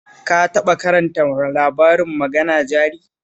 Ka taɓa karanta labarin Magana Jari?